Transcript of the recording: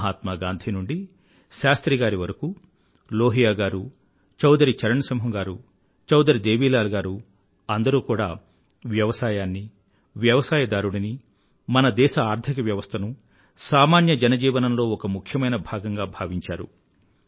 మహాత్మా గాంధీ నుండీ శాస్త్రిగారి వరకూ లోహియా గారూ చౌధరీ చరణ్ సింహ్ గారూ చౌధరీ దేవీలాల్ గారూ అందరూ కూడా వ్యవసాయాన్నీ వ్యవసాయదారుడినీ మన దేశ ఆర్థిక వ్యవస్థనూ సామాన్య జనజీవనంలో ఒక ముఖ్యమైన భాగంగా భావించారు